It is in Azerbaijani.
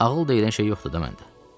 Ağıl deyilən şey yoxdur da məndə.